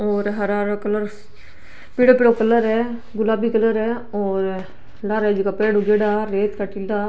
और हरा हरा कलर पीलो पीलो कलर है गुलाबी कलर है लारे पेड़ उगेडा रेत का टीला।